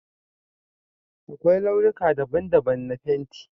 Akwai launuka daban-daban na fenti